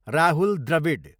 Rahul Dravid